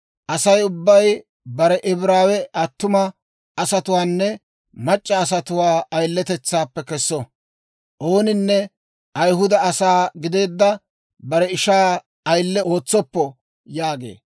«Asay ubbay bare Ibraawe attuma asatuwaanne mac'c'a asatuwaa ayiletetsaappe kesso; ooninne Ayihuda asaa gideedda bare ishaa ayile ootsoppo» yaagee.